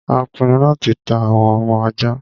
a pinu láti ta àwọn ọmọ aja